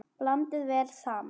Blandið vel saman.